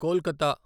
Kolkata